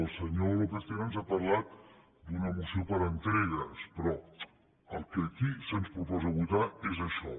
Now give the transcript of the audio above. el senyor lópez tena ens ha parlat d’una moció per entregues però el que aquí se’ns proposa votar és això